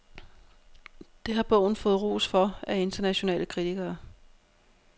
Det har bogen fået ros for af internationale kritikere.